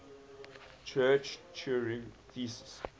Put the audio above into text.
church turing thesis